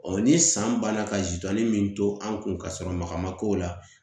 ni san banna ka zidɔnin min to an kun ka sɔrɔ maga ma k'o la